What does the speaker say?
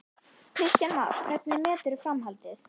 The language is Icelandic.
Kristján Már: Hvernig meturðu framhaldið?